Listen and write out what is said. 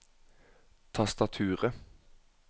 tastaturet